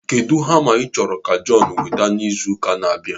Kedụ hama ị chọrọ ka Jọnu weta n'izu ụka n'abia?